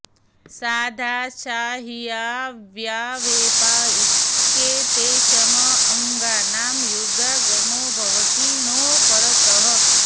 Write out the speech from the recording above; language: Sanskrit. शा धा सा ह्वा व्या वे पा इत्येतेषम् अङ्गानां युगागमो भवति णौ परतः